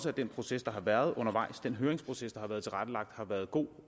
at den proces der har været undervejs den høringsproces der har været tilrettelagt har været god